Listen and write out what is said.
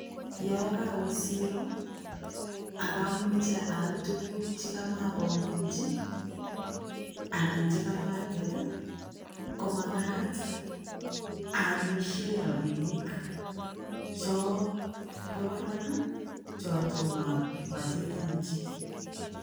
Yoon kowe siroo abamoche aal tukuk chekamobong'ochi anan chekamatet komakat aalishe rabinik choo bo barak chetomo abotechenji.